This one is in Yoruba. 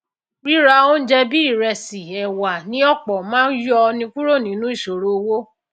ríra óúnje bíi ìresì èwà ní òpò máá yọ ni kúrò nínú ìsòro owó